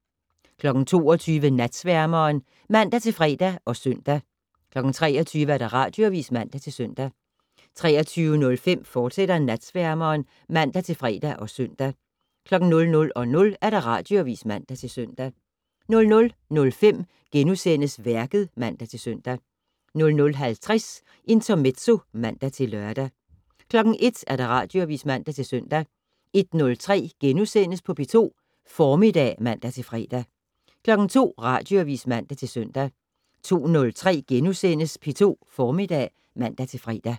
22:00: Natsværmeren (man-fre og søn) 23:00: Radioavis (man-søn) 23:05: Natsværmeren, fortsat (man-fre og søn) 00:00: Radioavis (man-søn) 00:05: Værket *(man-søn) 00:50: Intermezzo (man-lør) 01:00: Radioavis (man-søn) 01:03: P2 Formiddag *(man-fre) 02:00: Radioavis (man-søn) 02:03: P2 Formiddag *(man-fre)